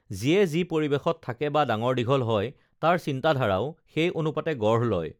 যিয়ে যি পৰিৱেশত থাকে বা ডাঙৰ দীঘল হয় তাৰ চিন্তাধাৰাও সেই অনুপাতে গঢ় লয়